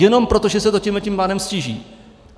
Jenom proto, že se to tímhle pádem ztíží.